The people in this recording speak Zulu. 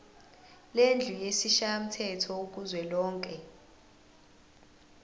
lendlu yesishayamthetho kuzwelonke